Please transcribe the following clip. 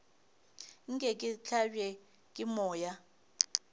nke ke hlabje ke moya